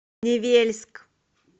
невельск